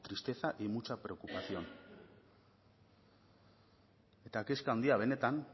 tristeza y mucha preocupación eta kezka handia benetan